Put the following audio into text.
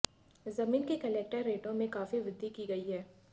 जमीन के कलेक्टर रेटों में काफी वृद्धि की गई है